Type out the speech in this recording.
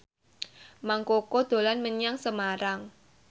Mang Koko dolan menyang Semarang